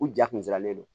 U ja kunsiranlen don